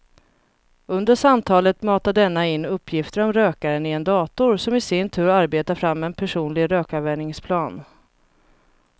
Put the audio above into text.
Under samtalet matar denna in uppgifter om rökaren i en dator som i sin tur arbetar fram en personlig rökavvänjningsplan.